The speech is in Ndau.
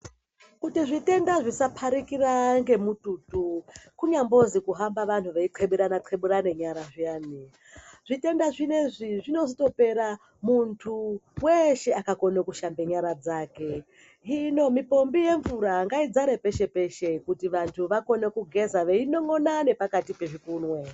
Kuti zvitenda zvisaparikira ngomututu kunyambozi kuhamba vanhu veyi qheburane qheburane nyara zviyani zvitenda zvinezvi zvinozotopera mundu weshe akakone kushambe nyara dzake hino mipombi yemvura ngaidzare peshe peshe kuti vandu vagone kugeza veyi non'ona nepakati pezvikunwe.